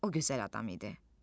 O gözəl adam idi.